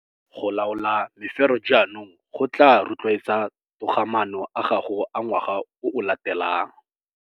Go laola mefero jaanong go tlaa rotloetsa togamaano a gago a ngwaga o o latelang.